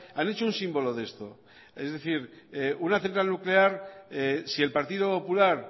han hecho un símbolo de esto es decir una central nuclear si el partido popular